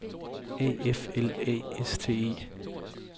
A F L A S T E